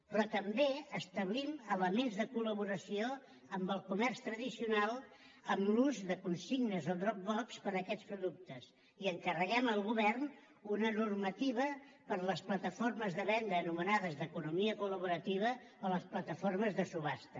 però també establim elements de col·laboració amb el comerç tradicional amb l’ús de consignes o drop boxper a aquests productes i encarreguem al govern una normativa per a les plataformes de venda anomenades d’ economia col·laborativa o les plataformes de subhasta